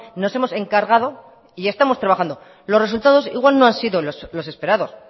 nos hemos encargado y estamos trabajando los resultados igual no han sido los esperados